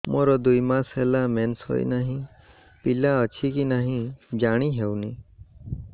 ମୋର ଦୁଇ ମାସ ହେଲା ମେନ୍ସେସ ହୋଇ ନାହିଁ ପିଲା ଅଛି କି ନାହିଁ ଜାଣି ହେଉନି